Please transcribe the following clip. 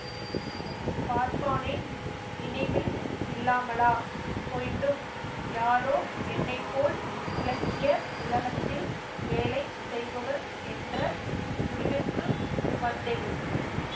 பார்ப்பானேன் நினைவில் இல்லாமலா போய்விடும் யாரோ என்னைப்போல் இலக்கிய உலகத்தில் வேலை செய்பவர் என்ற முடிவிற்கு வந்தேன்